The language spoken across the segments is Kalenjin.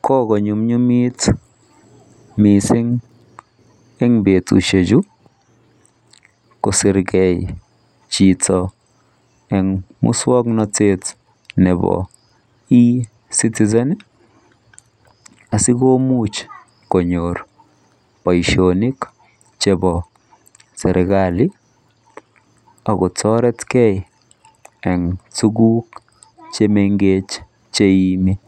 Kokonyumnyumit mising eng betushechu kosir kosirgei chito eng muswoknotet nepo E-citizen asikomuch konyor boishonik chepo serikali akotoretgei eng tuguk chemenkech cheiimi.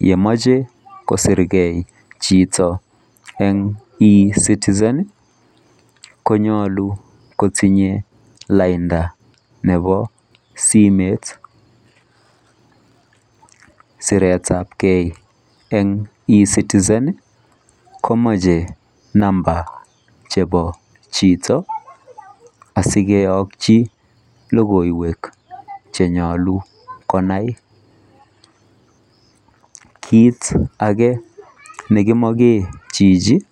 Yemoche kosirgei chito eng E-citizen konyolu kotinye lainda nepo simet. Siretapkei eng E-citizen komeche namba chepo chito asikeyokchi logoiwek chenyolu konai. Kit ake nekimoche chichi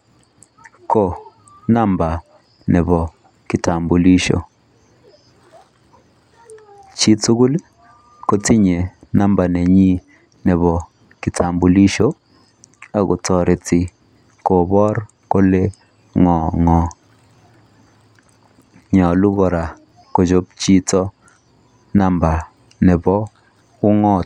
ko namba nepo kitambulisho. Chitugul kotinye namba nenyi nepo kitambulisho akotoreti kopor kole ng'o ng'o. Nyolu kora kochop chito namba nepo ung'ot.